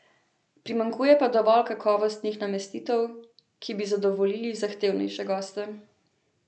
Primanjkuje pa dovolj kakovostnih namestitev, ki bi zadovoljili zahtevnejše goste.